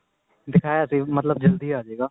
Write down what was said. ਦਿਖਾਇਆ ਸੀ ਮਤਲਬ ਜਲਦੀ ਅਜੇਗਾ